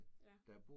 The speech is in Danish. Ja